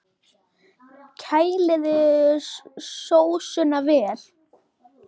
Kælið sósuna vel.